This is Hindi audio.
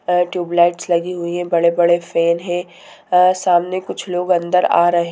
और ट्यूबलाइट्स लगी हुई है बड़े-बड़े फैन है अ सामने कुछ लोग अंदर आ रहे--